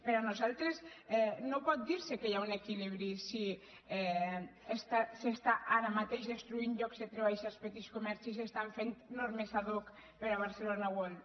per nosaltres no pot dir se que hi ha un equilibri si s’està ara mateix destruint llocs de treball als petits comerços i es fan normes ad hoc per a barcelona world